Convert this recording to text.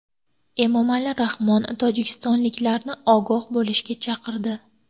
Emomali Rahmon tojikistonliklarni ogoh bo‘lishga chaqirdi.